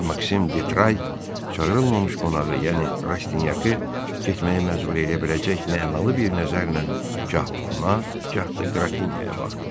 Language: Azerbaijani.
Maksim Detray çağırılmamış qonağı, yəni Rastinyakı getməyə məcbur eləyə biləcək mənalı bir nəzərlə gah ona, gah da Qrafinyaya baxdı.